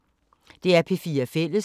DR P4 Fælles